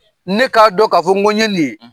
Ne k'a dɔn k'a fɔ n go ye nin ye